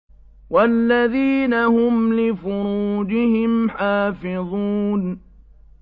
وَالَّذِينَ هُمْ لِفُرُوجِهِمْ حَافِظُونَ